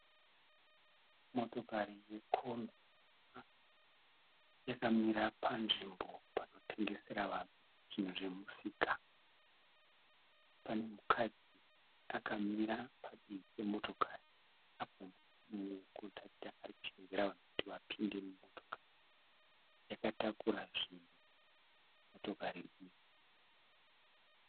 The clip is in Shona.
Motokari yekombi yakamira panzvimbo panotengesera vanhu zvinhu zvemusika. Pane mukadzi akamira padivi pemotokari apo mumwe kondakita ari kushevedzera vanhu kuti vapinde mumotokari. Yakatakura zvinhu motokari iyi.